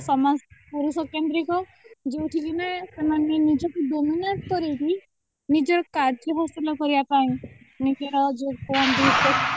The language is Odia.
ସମାଜ ପୁରୁଷ କେନ୍ଦ୍ରିକ ଯୋଉଠିକିନା ଏମାନେ ନିଜକୁ dominant କରେଇକି ନିଜର କାର୍ଯ୍ୟ ହାସଲ କରିବା ପାଇଁ ନିଜର ଯୋଉ କହନ୍ତି